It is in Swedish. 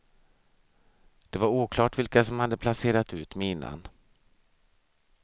Det var oklart vilka som hade placerat ut minan.